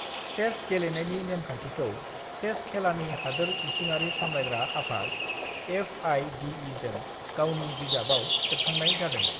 "Chess गेलेनायनि नेमखान्थिखौ chess खेलानि हादोर इसिङारि सामलायग्रा आफाद, एफआइडिइजों गावनि बिजाबआव सेबखांनाय जादों।"